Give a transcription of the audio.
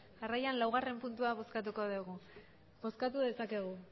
jarraian laugarrena puntua bozkatuko dugu bozkatu dezakegu